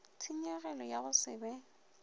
tshenyegelo ya go se be